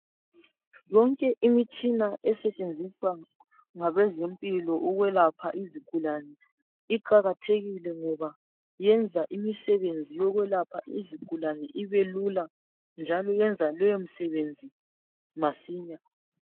Yonke imitshina esetshenziswa ngabezempilo ukwelapha izigulane uqakathekile, ngaba yenza imisebenzi yokwelapha izigulane ibelula, njalo yenza keyomisebenzi masinya.